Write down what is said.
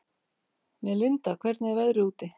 Melinda, hvernig er veðrið úti?